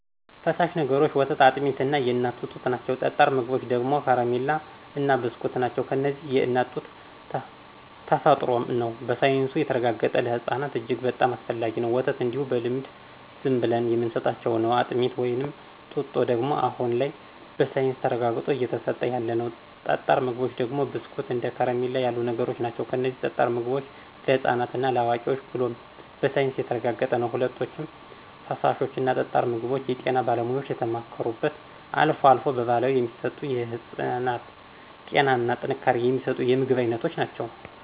ፈሳሽ ነገሮች ወተት አጥሚት የእናት ጡት ናቸው ጠጣር ምግቦች ደግሞ ከረማላ እና ብስኩት ናቸው እነዚህም የእናት ጡት ተፈጥሮም ነው በሳይንሱም የተረጋገጠ ለህፅናት እጅግ በጣም አስፈላጊ ነው፣ ወተት እንዲሁ በልምድ ዝምብለን የምንስጣቸው ነው፣ አጥሚት ወይም ጡጦ ደግሞ አሁን ላይ በሳይንስ ተረጋግጦ እየተስጠ ያለ ነው። ጠጣር ምግቦች ደግሞ ብስኩት እንደ ከረሚላ ያሉ ነገሮች ናቸው እነዚህም ጠጣር ምግቦች ለህፃናት እና ለአዋቂዎች ተብሎ በሳይንስ የተረጋገጠ ነው። ሁለቶችም ፍሳሾች እና ጠጣር ምግቦች የጤና ባለሙያዎች የተማከሩበት አልፎ አልፎ በባህላዊ የሚሰጡ የህፅናትን ጤና እና ጥንካሬ የሚስጡ የምግብ አይነቶች ናቸው።